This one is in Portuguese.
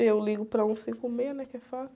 Eu ligo para um cinco meia, né, que é fácil.